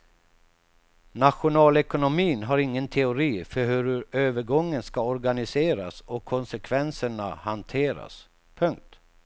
Nationalekonomin har ingen teori för hur övergången ska organiseras och konsekvenserna hanteras. punkt